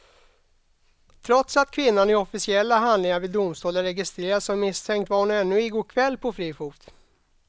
Trots att kvinnan i officiella handlingar vid domstol är registrerad som misstänkt var hon ännu i går kväll på fri fot.